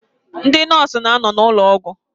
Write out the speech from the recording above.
Ndị nọọsụ na-anọ n'ụlọ ụgwọ.